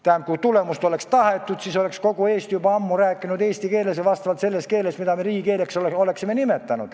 Tähendab, kui tulemust oleks tahetud, siis räägiks kogu Eesti juba ammu eesti keeles – selles keeles, mille me oleme riigikeeleks nimetanud.